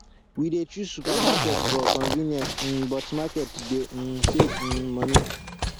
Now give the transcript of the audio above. we dey choose supermarket for convenience um but market dey um save um money